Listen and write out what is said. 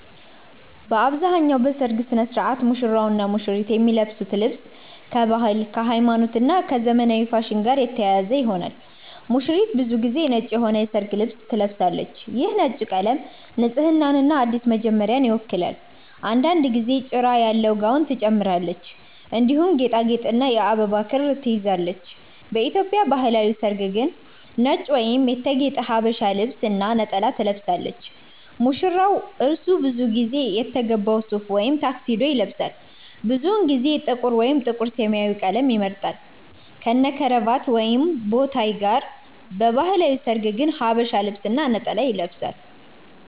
በአብዛኛው በሠርግ ሥነ ሥርዓት ሙሽራውና ሙሽሪት የሚለብሱት ልብስ ከባህል፣ ከሃይማኖት እና ከዘመናዊ ፋሽን ጋር የተያያዘ ይሆናል። ሙሽሪት ብዙ ጊዜ ነጭ የሆነ የሠርግ ልብስ ትለብሳለች። ይህ ነጭ ቀለም ንጽህናንና አዲስ መጀመሪያን ይወክላል። አንዳንድ ጊዜ ጭራ ያለው ጋውን ትጨምራለች፣ እንዲሁም ጌጣጌጥና የአበባ ክር ትይዛለች። በኢትዮጵያ ባህላዊ ሠርግ ግን ነጭ ወይም የተጌጠ ሀበሻ ልብስ እና ነጠላ ትለብሳለች። ሙሽራ : እርሱ ብዙ ጊዜ የተገባ ሱፍ ወይም ታክሲዶ ይለብሳል። ብዙውን ጊዜ ጥቁር ወይም ጥቁር-ሰማያዊ ቀለም ይመርጣል፣ ከነክራቫት ወይም ቦታይ ጋር። በባህላዊ ሠርግ ግን ሐበሻ ልብስ እና ነጠላ ይለብሳል።